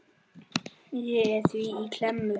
Ég er því í klemmu.